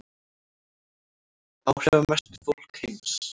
Áhrifamesta fólk heims